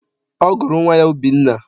Ọ gụrụ nwa ya Obinna.